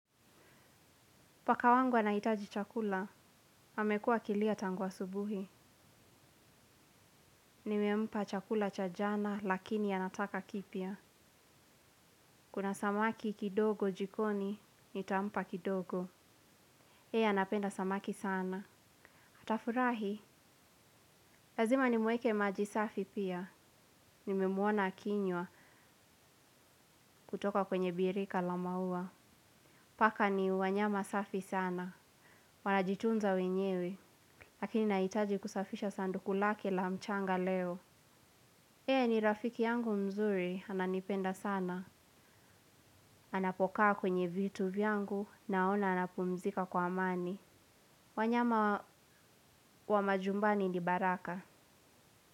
Paka wangu anahitaji chakula, amekua akilia tangu asubuhi. Nimempa chakula cha jana lakini anataka kipya. Kuna samaki kidogo jikoni, nitampa kidogo. Yeye anapenda samaki sana. Atafurahi, lazima nimwekee majisafi pia. Nimemwona akinywa kutoka kwenye birika la maua. Paka ni wanyama safi sana. Wanajitunza wenyewe, lakini nahitaji kusafisha sanduku lake la mchanga leo. Yeye ni rafiki yangu mzuri, ananipenda sana. Anapokaa kwenye vitu vyangu naona anapumzika kwa amani. Wanyama wa majumbani ni baraka.